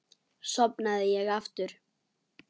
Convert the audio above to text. Sofnaði ég aftur?